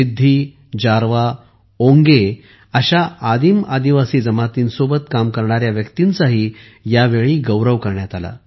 सिद्धी जारवा ओंगे अशा आदीम आदिवासी जमांतींसोबत काम करणाऱ्या व्यक्तींचाही यावेळी गौरव करण्यात आला